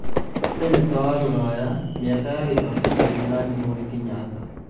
ceneta a rũraya: mĩako ya kibaki ndĩathiganirwo nĩ Kenyatta